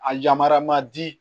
A yamaruya ma di